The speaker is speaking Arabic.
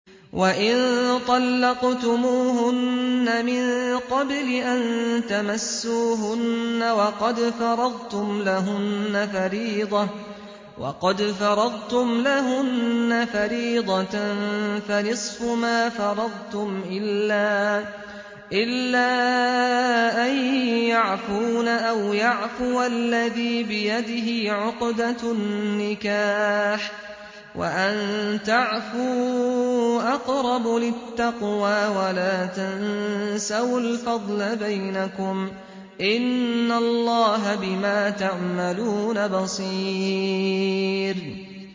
وَإِن طَلَّقْتُمُوهُنَّ مِن قَبْلِ أَن تَمَسُّوهُنَّ وَقَدْ فَرَضْتُمْ لَهُنَّ فَرِيضَةً فَنِصْفُ مَا فَرَضْتُمْ إِلَّا أَن يَعْفُونَ أَوْ يَعْفُوَ الَّذِي بِيَدِهِ عُقْدَةُ النِّكَاحِ ۚ وَأَن تَعْفُوا أَقْرَبُ لِلتَّقْوَىٰ ۚ وَلَا تَنسَوُا الْفَضْلَ بَيْنَكُمْ ۚ إِنَّ اللَّهَ بِمَا تَعْمَلُونَ بَصِيرٌ